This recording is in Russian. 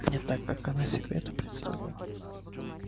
не так как она себе это представляла